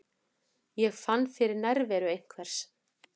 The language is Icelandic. Ég fann fyrir nærveru einhvers.